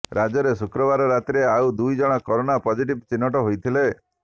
ରାଜ୍ୟରେ ଶୁକ୍ରବାର ରାତିରେ ଆଉ ଦୁଇଜଣ କରୋନା ପଜଟିଭ୍ ଚିହ୍ନଟ ହୋଇଥିଲେ